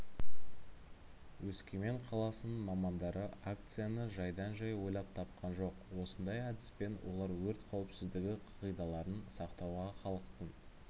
өскемен қаласының мамандары акцияны жайдан-жай ойлап тапқан жоқ осындай әдіспен олар өрт қауіпсіздігі қағидаларын сақтауға халықтың